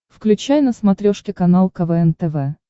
включай на смотрешке канал квн тв